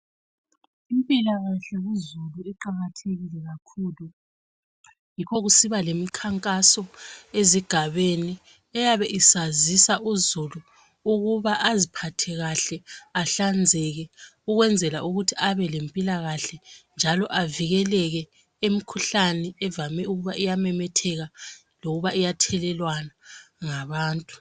Impilakahle kuzulu iqakathekile kakhulu, yikho kusiba lemkhankaso ezigabeni eyabe isazisa uzulu ukuba aziphathe kahle, ahlanzeke ukwenzela ukuthi abelempilakahle njalo avikeleke imkhuhlane evame ukuba iyamemetheka loba iyathelelwana ngabantu.